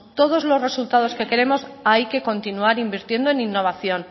todos los resultados que queremos hay que continuar invirtiendo en innovación